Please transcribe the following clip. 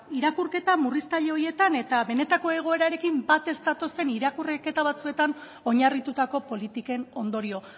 irakurketa murriztaile horietan eta benetako egoerarekin bat ez datozen irakurketa batzuetan oinarritutako politiken ondorio